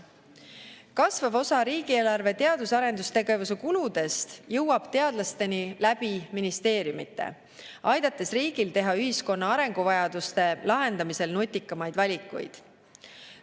Kasvav osa riigieelarve teadus‑ ja arendustegevuse kuludest jõuab teadlasteni läbi ministeeriumite, aidates riigil teha ühiskonna arenguvajaduste lahendamisel nutikamaid valikuid.